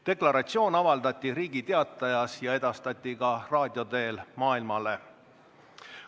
Deklaratsioon avaldati Riigi Teatajas ja edastati raadio teel ka maailmale.